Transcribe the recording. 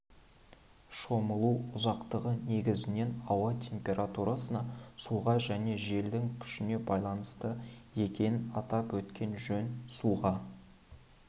шомылу ұзақтығы негізінен ауа температурысына суға және желдің күшіне байланысты екенін атап өткен жөн суға